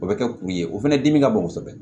O bɛ kɛ kun ye o fana dimi ka bon kosɛbɛ